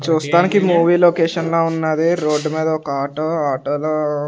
చూస్తానికి movie location లా ఉన్నాది రోడ్డు మీద ఒక ఆటో ఆటోలో .